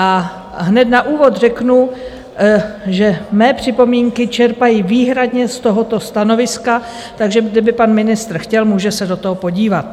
A hned na úvod řeknu, že mé připomínky čerpají výhradně z tohoto stanoviska, takže kdyby pan ministr chtěl, může se do toho podívat.